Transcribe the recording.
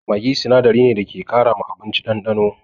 Maggi sinadari ne da ke ƙara ma abinci ɗanɗano.